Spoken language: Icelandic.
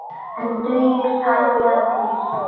En dugir tæplega til.